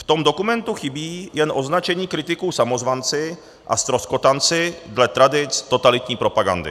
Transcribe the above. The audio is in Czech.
V tom dokumentu chybí jen označení kritiků samozvanci a ztroskotanci dle tradic totalitní propagandy.